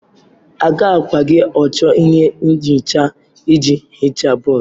Agakwaghị achọ ihe nhicha iji hichaa bọọdụ.